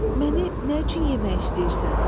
Məni nə üçün yemək istəyirsən?